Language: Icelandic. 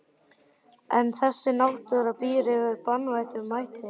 En þessi náttúra býr yfir banvænum mætti.